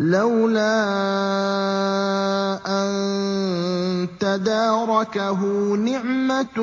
لَّوْلَا أَن تَدَارَكَهُ نِعْمَةٌ